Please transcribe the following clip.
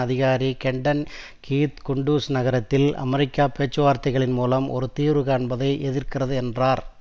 அதிகாரி Kenton Keith Kunduz நகரத்தில் America பேச்சுவார்த்தைகளின் மூலம் ஒரு தீர்வு காண்பதை எதிர்க்கிறது என்றார்